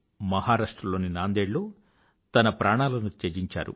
మహారాష్ట్ర లోని నాందేడ్ లో ఆయన తన ప్రాణాలను త్యజించారు